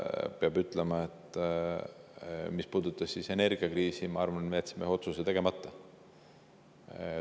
Peab ütlema, et mis puudutab aastatetagust energiakriisi, siis minu arvates me jätsime ühe otsuse tegemata.